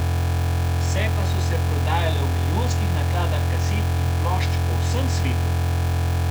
Vse pa so se prodajale v milijonskih nakladah kaset in plošč po vsem svetu.